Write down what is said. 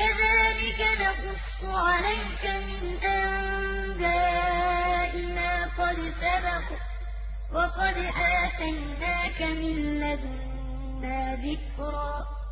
كَذَٰلِكَ نَقُصُّ عَلَيْكَ مِنْ أَنبَاءِ مَا قَدْ سَبَقَ ۚ وَقَدْ آتَيْنَاكَ مِن لَّدُنَّا ذِكْرًا